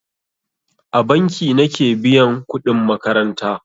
A banki nake biyan kudin makaranta.